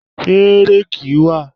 Ṣé réèkì wà?